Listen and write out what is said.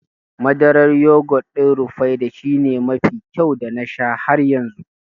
Madarar yogut ɗin Rufaidah shine mafi kyau da na sha har yanzu